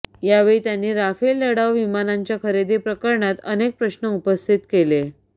यावेळी त्यांनी राफेल लढाऊ विमानांच्या खरेदी प्रकरणात अनेक प्रश्न उपस्थित केले